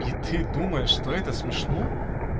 и ты думаешь что это смешно